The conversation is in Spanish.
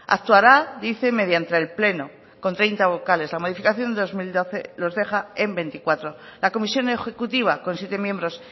actuará dice mediante el pleno con treinta vocales la modificación de dos mil doce los deja en veinticuatro la comisión ejecutiva con siete miembros